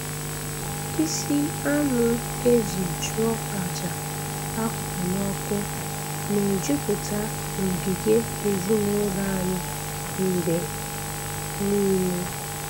Isi anụ e ji chụọ aja a hụrụ n'ọkụ na-ejupụta n'ogige ezinụlọ anyị mgbe niile.